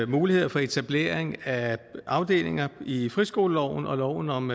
mulighed for etablering af afdelinger i friskoleloven og loven om